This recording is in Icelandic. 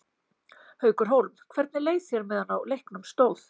Haukur Hólm: Hvernig leið þér á meðan á leiknum stóð?